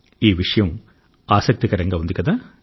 ఈ విషయం ఆసక్తికరంగా ఉంది కదా